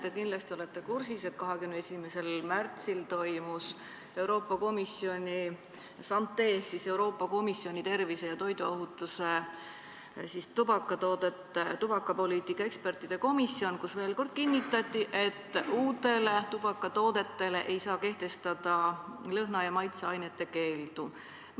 Ma usun, et te olete kursis, et 21. märtsil toimus Euroopa Komisjoni SANTE ehk Euroopa Komisjoni tervise ja toiduohutuse üksuse tubakapoliitika ekspertide kogunemine, kus veel kord kinnitati, et uutele tubakatoodetele ei saa kehtestada lõhna- ja maitseainete keeldu.